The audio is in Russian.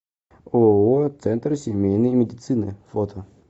ооо центр семейной медицины фото